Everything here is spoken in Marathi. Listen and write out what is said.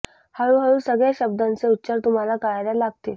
हळू हळू सगळ्या शब्दांचे उच्चार तुम्हाला कळायला लागतील